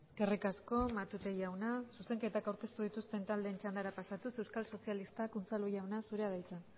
eskerrik asko matute jauna zuzenketak aurkeztu dituzten taldeen txandara pasatuz euskal sozialistak unzalu jauna zurea da hitza